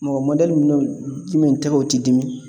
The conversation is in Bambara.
Mɔgɔ mɔdɛli minun jumɛn tɛgɛw ti dimi?